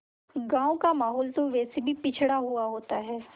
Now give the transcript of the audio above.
गाँव का माहौल तो वैसे भी पिछड़ा हुआ होता है